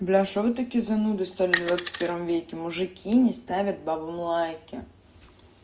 бля что вы такие занудные стали в двадцатом веке мужики не ставят девушкам лайки